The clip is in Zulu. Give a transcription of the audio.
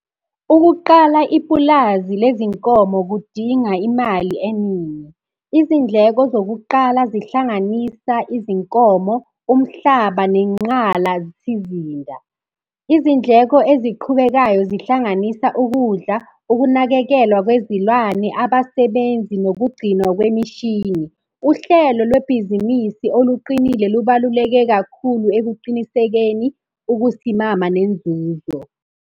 Ukuqala ipulazi lezinkomo kudinga imali eningi. Izindleko zokuqala zihlanganisa izinkomo, umhlaba nenqalasizinda. Izindleko eziqhubekayo zihlanganisa ukudla, ukunakekelwa kwezilwane, abasebenzi, nokugcinwa kwemishini. Uhlelo lwebhizinisi oluqinile lubaluleke kakhulu ekuqinisekeni ukusimama nenzuzo.